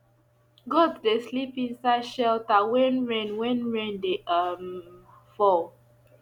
goat dey sleep inside shelter when rain when rain dey um fall